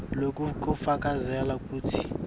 loku kufakazela kutsi